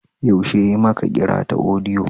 Yaushe ya yi maka kira ta audio?